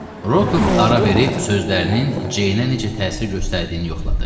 Rokov ara verib sözlərinin Ceynə necə təsir göstərdiyini yoxladı.